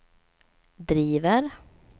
driver